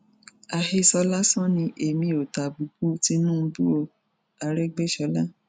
àhesọ lásán ni èmi ò tàbùkù tìtùbù o àrègbèsọla